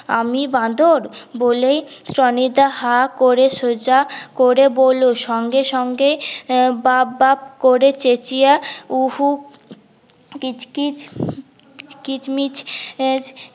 আমি বাঁদর বলেই টনি দা হাঁ করে সোজা করে বলল সঙ্গে সঙ্গে বাপ বাপ করে চেচিয়া হম উ হু কিচ কিচ কিচ মিচ